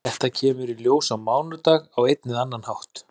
Þetta kemur í ljós á mánudag á einn eða annan hátt.